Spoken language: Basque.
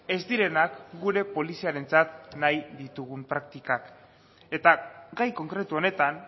ez direnak gure poliziarentzat nahi ditugun praktikak eta gai konkretu honetan